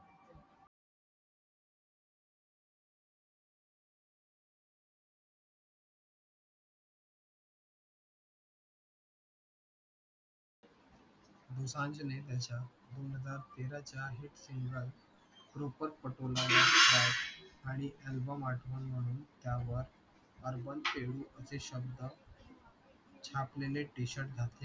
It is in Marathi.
दोसांझने त्याच्या दोन हजार तेराच्या hit सिंगल proper पटोला आणि album आठवण म्हणून त्या वर अर्बन पेंडू असे शब्द छापलेले t-shirt घातले